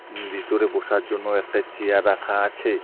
উম বিতরে বসার জন্য একটা চিয়ার রাখা আছে।